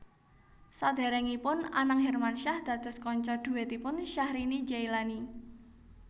Sadèrèngipun Anang Hermansyah dados kanca dhuètipun Syahrini Jaelani